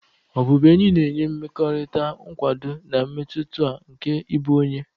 Obubuenyi na enye mmekota nkwado, na mmetụta nke ịbụ onye.